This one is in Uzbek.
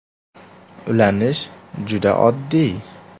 Ulanish juda oddiy!